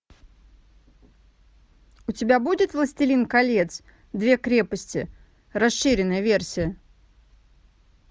у тебя будет властелин колец две крепости расширенная версия